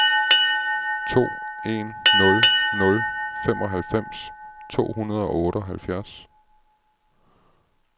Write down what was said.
to en nul nul femoghalvfems to hundrede og otteoghalvfjerds